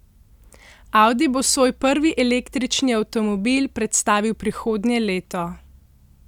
Audi bo svoj prvi električni avtomobil predstavil prihodnje leto.